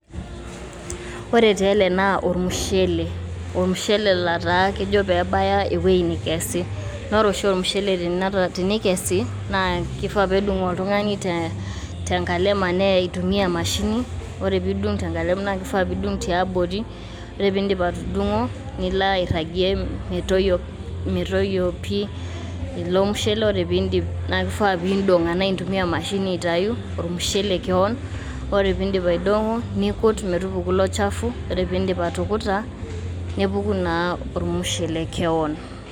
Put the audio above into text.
ore tee ele naa ormushele. ormushele letaa kejo pebaya ewuei nikesi. naa ore oshi ormushele tenikesi na kifaa pedung oltungani te nkalem anee eitumia emashini ore pindung tenkalem naa kifaa pidung tiabori . ore pindip atudungo nilo airangie metoyio metoyio pi ilo mushele . ore pindip naa kifaa pindong anaa intumia emashini aitayu ormushele kewon .ore pindip aidongo nikut metupuku ilo chafu .ore pindip atukuta nepuku naa ormushele kewon.